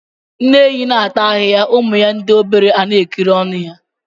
Nne ehi na ata ahịhịa ụmụ ya ndị obere ana ekiri ọnụ ya.